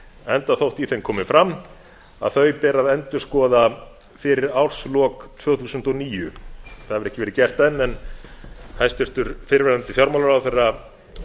enda þótt í þeim komi fram að þau beri að endurskoða fyrir árslok tvö þúsund og níu það hefur ekki verið gert enn en hæstvirtur fyrrverandi fjármálaráðherra